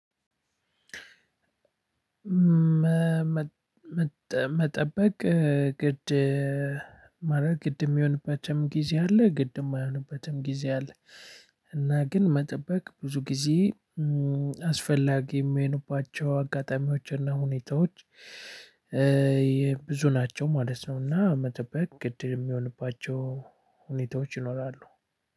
መጠበቅ ግድ ማለት ግድ የሚሆንበትም ጊዜ አለ ግድም የማይሆንበትም ጊዜ አለ። እና ግን መጠበቅ ብዙ ጊዜ አስፈላጊ የሚሆንባቸው አጋጣሚዎችና ሁኔታዎች የብዙ ናቸው ማለት ነው። እና መጠበቅ ግድ የሚሆንባቸው ሁኔታዎች ይኖራሉ።